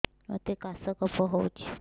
ମୋତେ କାଶ କଫ ହଉଚି